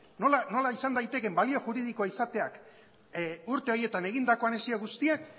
nola izan daitekeen balio juridikoa izateak urte haietan egindako anexio guztiak